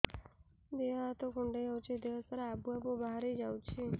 ଦିହ ହାତ କୁଣ୍ଡେଇ ହଉଛି ଦିହ ସାରା ଆବୁ ଆବୁ ବାହାରି ଯାଉଛି